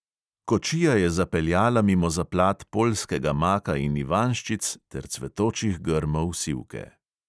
Kočija je zapeljala mimo zaplat poljskega maka in ivanjščic ter cvetočih grmov sivke.